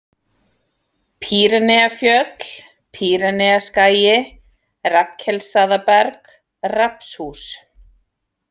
Pýreneafjöll, Pýreneaskagi, Rafnkelsstaðaberg, Rafnshús